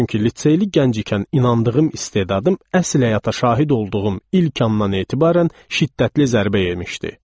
Çünki liseyli gənc ikən inandığım istedadım əsl həyata şahid olduğum ilk andan etibarən şiddətli zərbə yemişdi.